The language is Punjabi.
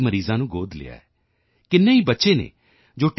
ਮਰੀਜ਼ਾਂ ਨੂੰ ਗੋਦ ਲਿਆ ਕਿੰਨੇ ਹੀ ਬੱਚੇ ਹਨ ਜੋ ਟੀ